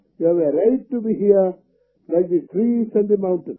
you have a right to be here like the trees and the mountains